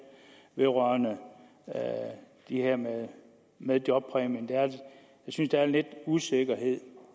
vedrørende det her med med jobpræmien jeg synes der er lidt usikkerhed